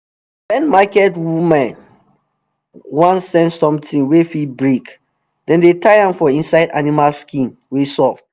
wen market women wan send something wey fit break dem dey tie am for inside animal skin wey soft